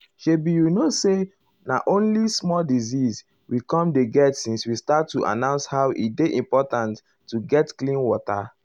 shebi you know say na only small disease we com dey get since we start to announce how e dey important to get clean water.